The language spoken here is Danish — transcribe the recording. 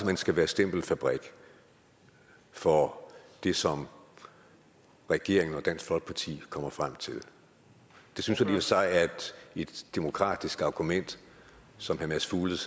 hen skal være stempelfabrik for det som regeringen og dansk folkeparti kommer frem til det synes jeg sig er et demokratisk argument som herre mads fuglede